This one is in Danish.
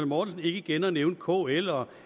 mortensen ikke igen at nævne kl og